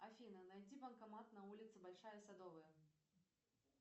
афина найди банкомат на улице большая садовая